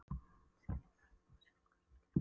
Sigga í Lyngbrekku var sjálfkjörin í hlutverk hennar.